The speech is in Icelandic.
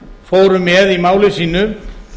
fóru með í máli sínu